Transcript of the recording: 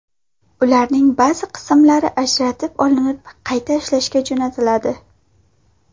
Ularning ba’zi qismlari ajratib olinib, qayta ishlashga jo‘natiladi.